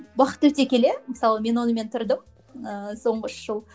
уақыт өте келе мысалы мен онымен тұрдым ыыы соңғы үш жыл